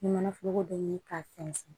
Ni manaforoko bɛ ɲini ka sɛnsɛn